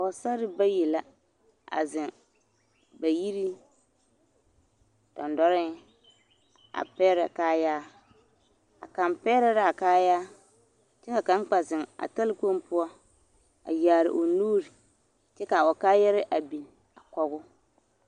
Pɔgesarre bayi la a zeŋ bayiriŋ dendɔreŋ a pɛgerɛ kaayaa, a kaŋ pɛgerɛ l'a kaayaa kyɛ ka kaŋ kpɛ zeŋ a talakpoŋ poɔ a yaare o nuuri kyɛ k'a o kaayarɛɛ a biŋ a kɔgoo.